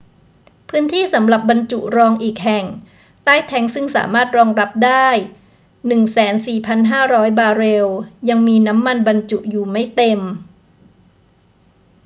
พื้นที่สำหรับบรรจุรองอีกแห่งใต้แทงก์ซึ่งสามารถรองรับได้ 104,500 บาร์เรลยังมีน้ำมันบรรจุอยู่ไม่เต็ม